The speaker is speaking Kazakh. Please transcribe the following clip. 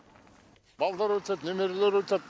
балдар өтеді немерелер өтеді